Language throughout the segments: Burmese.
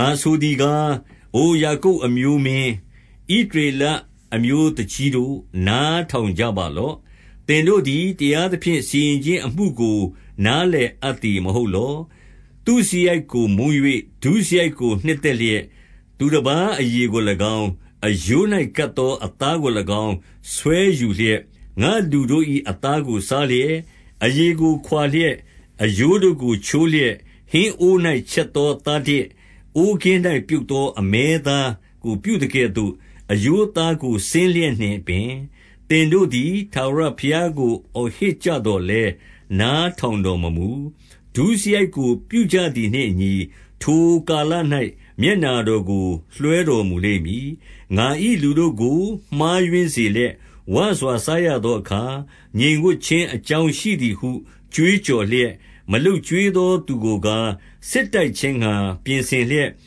ငါဆိုသည်ကား၊ အိုယာကုပ်အမျိုးမင်း၊ ဣသ ရေလအမျိုးသူကြီးတို့၊ နားထောင်ကြပါလော့။ သင်တို့ သည် တရားသဖြင့် စီရင်ခြင်းအမှုကို နားလည်အပ်သည် မဟုတ်လော။ သုစရိုက်ကို မုန်း၍ ဒုစရိုက်ကို နှစ်သက်လျက်၊ သူတပါးအရေကို၎င်း၊ အရိုး၌ကပ်သော အသားကို၎င်း ဆွဲယူလျက်၊ ငါ့လူတို့၏အသားကို စားလျက်၊ အရေကို ခွာ လျက်၊ အရိုးတို့ကို ချိုးလျက်၊ ဟင်းအိုး၌ ချက်သော သားတစ်၊ အိုးကင်း၌ပြုတ်သော အမဲသားကို ပြုသကဲ့သို့ အရိုးအသားကို စဉ်းလျက်နှင့်ပင်၊ သင်တို့သည် ထာဝရဘုရားကို အော်ဟစ်ကြ သော်လည်း နားထောင်တော်မမူ။ ဒုစရိုက်ကို ပြုကြသည် နှင့်အညီ၊ ထိုကာလ၌ မျက်နှာတော်ကို လွှဲတော်မူလိမ့် မည်။ ငါ၏လူတို့ကို မှားယွင်းစေလျက် ဝစွာ စားရ သောအခါ၊ ငြိမ်ဝပ်ခြင်းအကြောင်းရှိသည်ဟု ကြွေးကြော် လျက်၊ မလုပ်ကျွေးသောသူကိုကား၊ စစ်တိုက်ခြင်းငှါ ပြင် ဆင်လျက်၊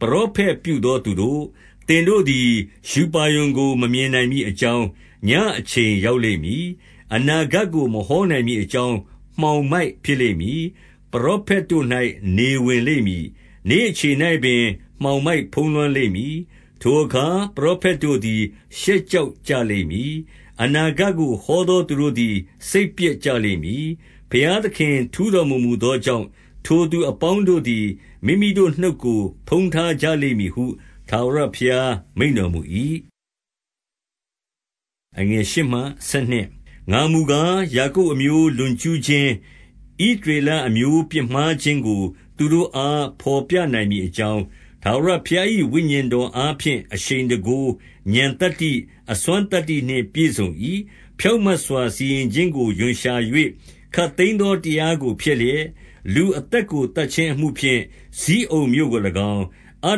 ပရောဖက်ပြုသောသူတို့၊ သင်တို့သည် ရူပါရုံကို မမြင်နိုင်မည်အကြောင်း၊ ညဉ့်အချိန်ရောက်လိမ့်မည်။ အနာဂတ်ကို မဟောနိုင် မည်အကြောင်း၊ မှောင်မိုက်ဖြစ်လိမ့်မည်။ ပရောဖက်တို့၌ နေဝင်လိမ့်မည်။ နေ့အချိန်၌ပင် မှောင်မိုက်ဖုံးလွှမ်းလိမ့် မည်။ ထိုအခါ ပရောဖက်တို့သည် ရှက်ကြောက်ကြ လိမ့်မည်။ အနာဂတ်ကို ဟောသောသူတို့သည် စိတ်ပျက် ကြလိမ့်မည်။ ဘုရားသခင်ထူးတော်မမူသောကြောင့်၊ ထိုသူအပေါင်းတို့သည် မိမိတို့နှုတ်ကို ဖုံးထားကြလိမ့်မည် ဟု ထာဝရဘုရားမိန့်တော်မူ၏။ ငါမူကား၊ ယာကုပ်အမျိုး လွန်ကျူးခြင်း၊ ဣသ ရေလအမျိုးပြစ်မှားခြင်းကို သူတို့အား ဘော်ပြနိုင်မည် အကြောင်း၊ ထာဝရဘုရား၏ ဝိညာဉ်တော်အားဖြင့် အရှိန်တန်ခိုး၊ ဥာဏ်သတ္တိ၊ အစွမ်းသတ္တိနှင့် ပြည့်စုံ၏။ ဖြောင့်မတ်စွာ စီရင်ခြင်းကို ရွံရှာ၍ ခပ်သိမ်း သောတရားကို ဖျက်လျက်၊ လူအသက်ကို သတ်ခြင်းအမှုဖြင့် ဇိအုန်မြို့ကို ၎င်း၊ အ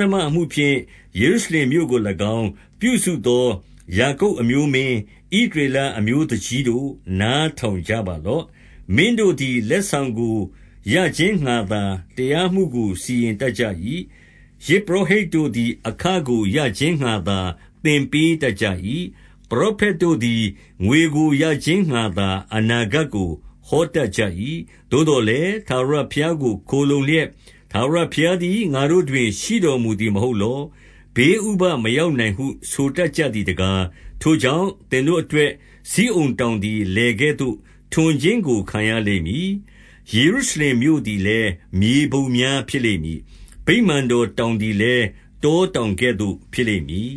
ဓမ္မအမှုဖြင့် ယေရုရှလင်မြို့ကို၎င်း ပြုစုသော ယာကုပ်အမျိုးမင်း၊ ဣသရေလအမျိုးသူကြီးတို့၊ နား ထောင်ကြပါလော့။ မင်းတို့သည် လက်ဆောင်ကို ရခြင်းငှါသာ တရားမှုကို စီရင်တတ်ကြ၏။ ယဇ်ပုရောဟိတ်တို့သည် အခကိုရခြင်းငှါသာ သင်ပေးတတ်ကြ၏။ ပရောဖက်တို့ သည် ငွေကို ရခြင်းငှါသာ အနာဂတ်ကို ဟောတတ်ကြ၏။ သို့သော်လည်း၊ ထာဝရဘုရားကို ခိုလှုံလျက်၊ ထာဝရ ဘုရားသည် ငါတို့တွင် ရှိတော်မူသည်မဟုတ်လော၊ ဘေး ဥပဒ်မရောက်နိုင်ဟု ဆိုတတ်ကြသည်တကား။ ထိုကြောင့်၊ သင်တို့အတွက် ဇိအုန်တောင်သည် လယ်ကဲ့သို့ ထွန်ခြင်းကို ခံရလိမ့်မည်။ ယေရုရှလင်မြို့ သည်လည်း မြေပုံများဖြစ်လိမ့်မည်။ ဗိမာန်တော်တောင် သည်လည်း၊ တောတောင်ကဲ့သို့ ဖြစ်လိမ့်မည်